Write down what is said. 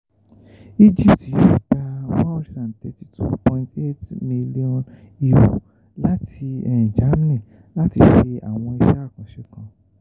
egypt gba one hundred and thirty two point eight million euro um lati germany lati ṣe awọn iṣẹ akanṣe kan